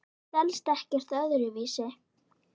Það selst ekkert öðru vísi.